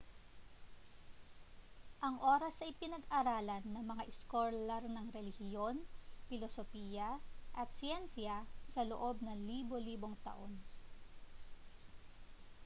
ang oras ay pinag-aralan na ng mga iskolar ng relihiyon pilosopiya at siyensiya sa loob ng libo-libong taon